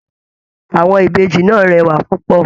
Àwọn Ìbejì náà rẹwa púpọ.